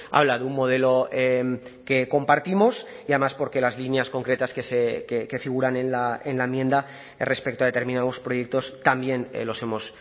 habla de un modelo que compartimos y además porque las líneas concretas que figuran en la enmienda respecto a determinados proyectos también los hemos